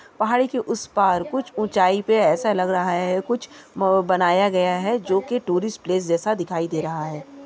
पहाड़ी के उस पार कुछ उचाई पे ऐसा लग रहा हैं कुछ बनाया गया हैं जो कि टूरिस प्लेस जैसा दिखाई दे रहा हैं।